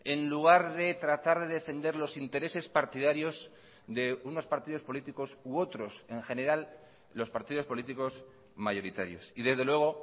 en lugar de tratar de defender los intereses partidarios de unos partidos políticos u otros en general los partidos políticos mayoritarios y desde luego